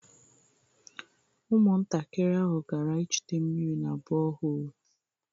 Ụmụntakịrị ahụ gara ịchute mmiri na bọhoolu